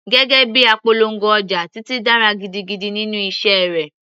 Gẹ́gẹ́ bíi apolongo ọjà, Titi dára gidigidi nínú iṣẹ́ rẹ̀.